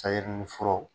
Sayi ni furaw